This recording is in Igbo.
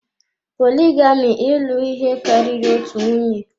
Poligami ịlụ ihe karịrị otu nwunye.